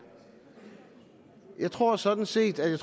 jeg tror sådan set at det